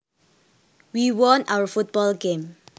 We won our football game